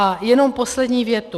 A jenom poslední větu.